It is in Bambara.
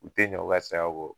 U te ɲɛ uka saya kɔ